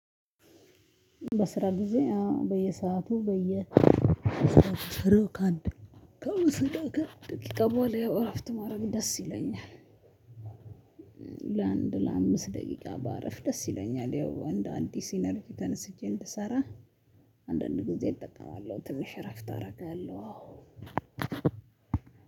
በስራ ጊዜ አዎ በየሰአቱ አእረፍትካለቀ ከሶስት እና ከአምስት ደቂቃ በኋላ ያው ረፍት ማድረግ ደስ ይለኛል። ለአንድ ለአምስት ደቂቃ በአረፍ ደስ ይለኛል ያው እንዴ አዲስ ኢነርጂ ተነስቼ እንድሰራ። አንዳንድ ጊዜ እጠቀማለሁ ትንሽ እረፍት አደርጋለሁ። አዎ